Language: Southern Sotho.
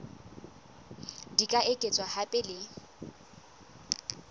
di ka etswa hape le